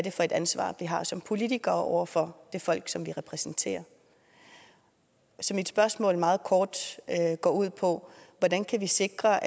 er for et ansvar vi har som politikere over for det folk som vi repræsenterer så mit spørgsmål går meget kort ud på hvordan kan vi sikre